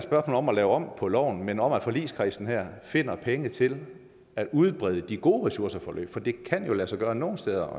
om at lave om på loven men om at forligskredsen her finder pengene til at udbrede de gode ressourceforløb for det kan jo øjensynligt lade sig gøre nogle steder